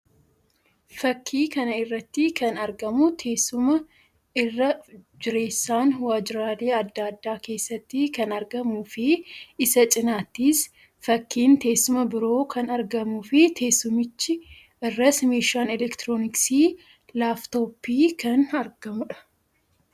Fakkii kana irratti kan argamu teessuma irra jireessan waajjiraalee addaa addaa keessatti kan argamuu fi isa cinattis fakkiin teessuma biroo kan argamui fi teessumicha irras meeshaan elektirooniksii laaftoppíi kan argamuu dha.